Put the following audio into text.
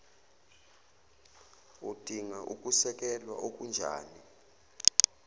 udinga ukusekelwa okunjani